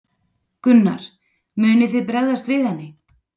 Gunnar: Munið þið bregðast við henni?